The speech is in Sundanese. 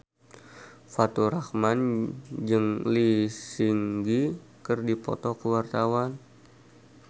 Faturrahman jeung Lee Seung Gi keur dipoto ku wartawan